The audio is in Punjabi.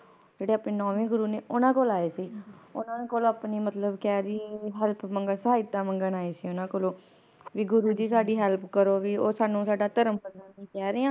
ਜਿਹੜੇ ਆਪਣੇ ਨੌਵੇਂ ਗੁਰੂ ਨੇ ਓਹਨਾ ਕੋਲ ਆਏ ਸੀ ਓਹਨਾ ਕੋਲ ਆਪਣੀ ਮਤਲਬ ਕਹਿ ਦੇਈਏ Help ਸਹਾਇਤਾ ਮੰਗਣ ਆਏ ਸੀ ਓਹਨਾ ਕੋਲੋਂ ਵੀ ਗੁਰੂ ਜੀ ਸਾਡੀ Help ਉਹ ਸਾਨੂੰ ਸਾਡਾ ਧਰਮ ਬਦਲਣ ਨੂੰ ਕਹਿ ਰਹੇ ਹਨ